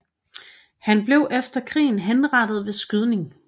Han blev efter krigen henrettet ved skydning